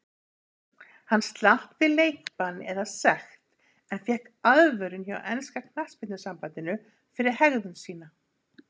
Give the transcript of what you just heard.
Hann slapp við leikbann eða sekt en fékk aðvörun hjá enska knattspyrnusambandinu fyrir hegðun sína.